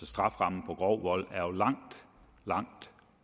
strafferammen for grov vold